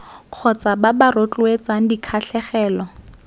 kgotsa ba ba rotloetsang dikgatlhegelo